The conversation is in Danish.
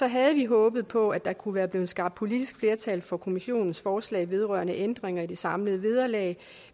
havde vi håbet på at der kunne være blevet skabt politisk flertal for kommissionens forslag vedrørende ændringer i det samlede vederlag